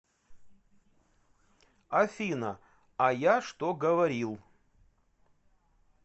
афина а я что говорил